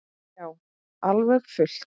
Já, alveg fullt.